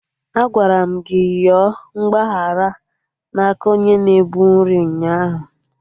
Agwara m gị yọọ mgbaghara na aka onye na-ebu nri ụnyaahụ!